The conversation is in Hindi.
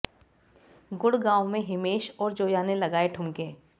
गुडग़ांव में हिमेश और जोया ने लगाये ठुमके